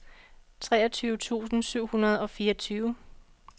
treogtyve tusind syv hundrede og fireogtyve